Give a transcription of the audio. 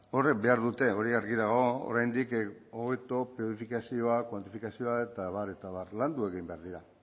horiek behar dute hori argi dago oraindik hobeto planifikazioa kuantifikazioa eta abar eta abar landu egin behar dira